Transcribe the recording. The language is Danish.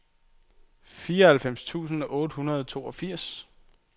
fireoghalvfems tusind otte hundrede og toogfirs